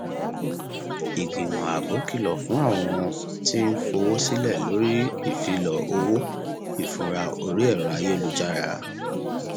ìgbìmọ ààbò kìlọ fún àwọn tí ń fowó sílẹ lórí ìfilọ owó ìfura orí ẹrọ ayélujára